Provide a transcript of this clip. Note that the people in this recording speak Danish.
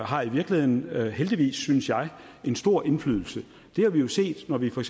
har i virkeligheden heldigvis synes jeg stor indflydelse det har vi jo set når vi for